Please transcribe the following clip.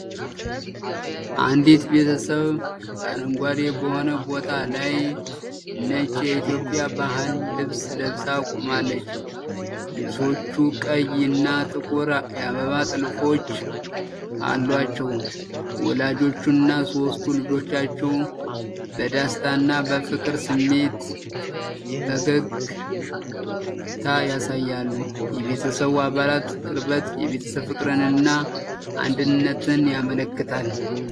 አንዲት ቤተሰብ በአረንጓዴ በሆነ ቦታ ላይ ነጭ የኢትዮጵያ ባህል ልብስ ለብሳ ቆማለች። ልብሶቹ ቀይ እና ጥቁር የአበባ ጥልፎች አሏቸው። ወላጆቹና ሦስቱ ልጆቻቸው በደስታና በፍቅር ስሜት ፈገግታ ያሳያሉ። የቤተሰቡ አባላት ቅርበት የቤተሰብ ፍቅርን እና አንድነትን ያመለክታል።